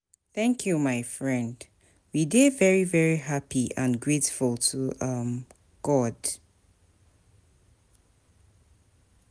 thank you my friend, we dey very happy and grateful to um God.